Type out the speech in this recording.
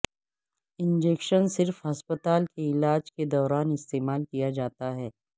injection صرف ہسپتال کے علاج کے دوران استعمال کیا جاتا ہے